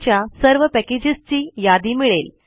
च्या सर्व पॅकेजेसची यादी मिळेल